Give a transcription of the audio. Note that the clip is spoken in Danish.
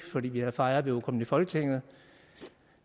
fordi vi havde fejret vi var kommet i folketinget